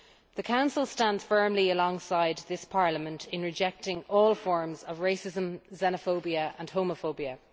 The Council stands firmly alongside this Parliament in rejecting all forms of racism, xenophobia and homophobia.